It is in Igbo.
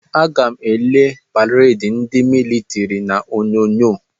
Aga m ele pareedi ndị militiri n'Onyonyo.